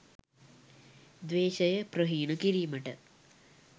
ද්වේශය ප්‍රහීණ කිරීමට